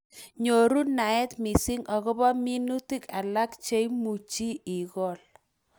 Nyoru naet missing akobo minutik alake cheimuchi ikol